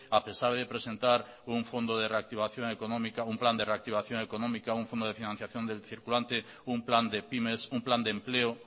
a pesar de presentar un fondo de reactivación económica un plan de reactivación económica un fondo de financiación del circulante un plan de pymes un plan de empleo